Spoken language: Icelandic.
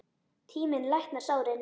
Tíminn læknar sárin.